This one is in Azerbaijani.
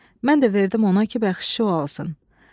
Mən də verdim ona ki, bəxşişi o alsın."